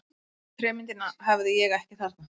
Trémyndina hafði ég ekki þarna.